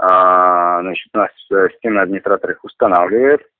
значит наш системный администратор их устанавливает